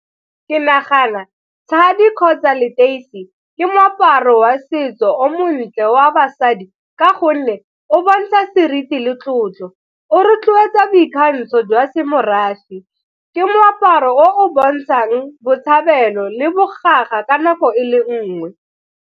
Ke nagana tshadi kgotsa leteisi ke moaparo wa setso o montle wa basadi ka gonne o bontsha seriti le tlotlo, o rotloetsa boikgantsho jwa semorafe, ke moaparo o o bontshang botshabelo le ka nako e le nngwe.